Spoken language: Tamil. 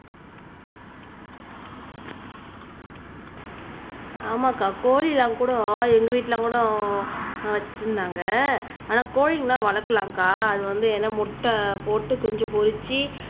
ஆமாங்கா கோழி எல்லாம் கூட எங்க வீட்ல கூட வச்சிருந்தாங்க ஆனா கோழி எல்லாம் வளக்கலாம்க்கா அது வந்து ஏன்னா முட்டை போட்டு குஞ்சு பொரிச்சு